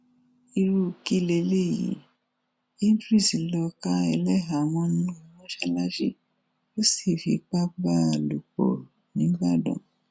irú kí leléyìí idris lọọ ká ẹlẹhàá mọnú mọsálásí ó sì fipá bá a lò pọ nìbàdàn